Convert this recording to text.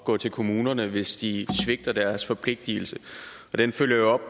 gå til kommunerne hvis de svigter deres forpligtigelse og den følger